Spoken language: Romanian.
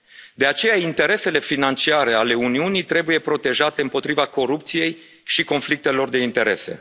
De aceea, interesele financiare ale Uniunii trebuie protejate împotriva corupției și a conflictelor de interese.